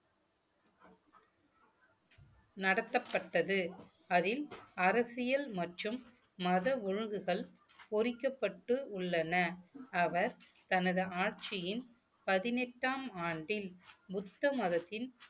நடத்தப்பட்டது அதில் அரசியல் மற்றும் மத ஒழுங்குகள் பொறிக்கப்பட்டு உள்ளன அவர் தனது ஆட்சியின் பதினெட்டாம் ஆண்டின் புத்த மதத்தின்